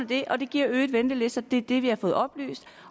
det og det giver øgede ventelister det er det vi har fået oplyst